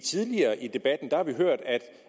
tidligere i debatten har hørt